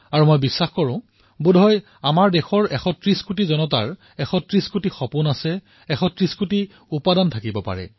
আৰু মই ভাবো যে বোধহয় ১৩০ কোটি দেশবাসীৰ ওচৰত ১৩০ কোটি কল্পনাও আছে ১৩০ কোটি উপক্ৰমো আছে